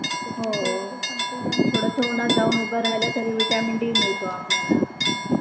हो थोडस उन्हात जाऊन उभं राहील तरी vitamin D मिळतो आपल्याला.